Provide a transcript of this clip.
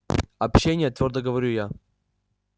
общение твёрдо говорю я